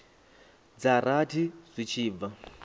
dza rathi zwi tshi bva